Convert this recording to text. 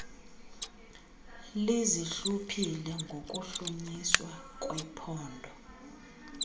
lizihluphile ngokuhlunyiswa kwephondo